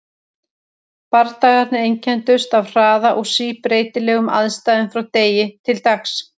Bardagarnir einkenndust af hraða og síbreytilegum aðstæðum frá degi til dags.